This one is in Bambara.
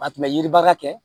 A tun bɛ yiribaga kɛ